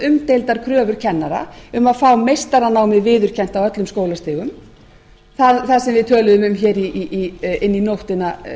umdeildar kröfur kennara um að fá meistaranámið viðurkennt á öllum skólastigum það sem við töluðum um hér inn í nóttina